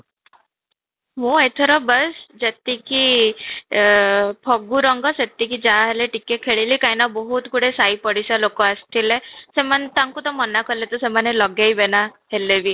ମୁଁ ଏଥର ବାସ ଯେତିକି ଏ ଫଗୁ ରଙ୍ଗ ସେତିକି ଯାହା ହେଲେ ଟିକେ ଖେଳିଲି, କାହିଁକି ନା ବହୁତ ଗୁଡ଼େ ସାହି ପଡିଶା ଲୋକ ଆସିଥିଲେ, ସେମାନେ ତାଙ୍କୁ ତ ମାନା କଲେ ବି ସେମାନେ ଲଗେଇବେ ନା ହେଲେ ବି